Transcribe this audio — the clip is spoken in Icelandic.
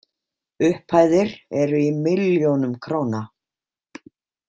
Upphæðir eru í milljónum króna.